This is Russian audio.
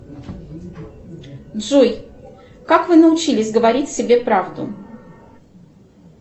джой как вы научились говорить себе правду